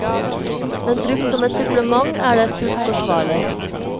Men brukt som et supplement er det fullt forsvarlig.